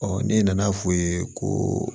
ne nana f'u ye ko